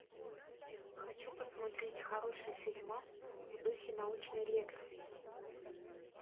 хочу посмотреть хороший фильмас в духе научной лекции